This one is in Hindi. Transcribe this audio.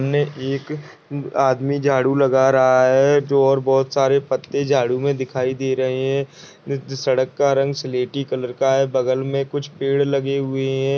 उने एक आदमी झाडू लगा रहा है जो और बहुत सारे पत्ते झाडू में दिखाई दे रहे है सड़क का रंग स्लेटी कलर का है बगल में कुछ पेड़ लगे हुये है।